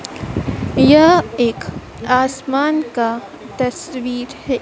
यह एक आसमान का तस्वीर है।